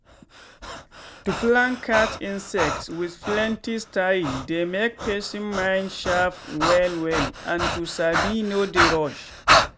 to plan catch insects with plenty style dey make person mind sharp well well and to sabi no dey rush.